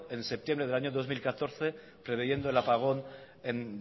en septiembre del año dos mil catorce previendo el apagón en